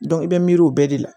i bɛ miiri o bɛɛ de la